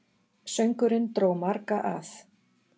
Söngurinn dró marga að.